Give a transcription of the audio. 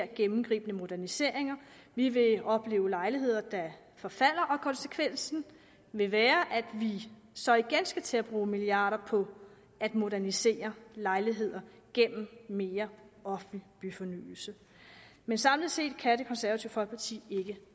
gennemgribende moderniseringer vi ville opleve lejligheder der forfalder og konsekvensen ville være at vi så igen skulle til at bruge milliarder på at modernisere lejligheder gennem mere offentlig byfornyelse men samlet set kan det konservative folkeparti ikke